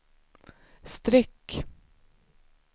streck